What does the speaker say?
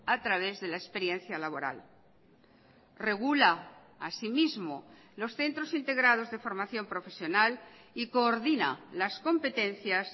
a través de la experiencia laboral regula asimismo los centros integrados de formación profesional y coordina las competencias